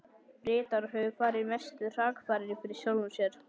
Bretar höfðu farið mestu hrakfarir fyrir sjálfum sér.